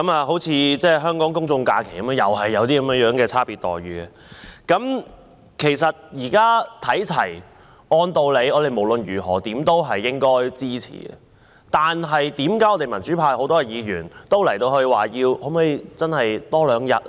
香港公眾假期同樣有這樣的差別待遇，現在要求看齊，按道理我們無論如何也應該支持，為何很多民主派議員都說可否增加多兩天呢？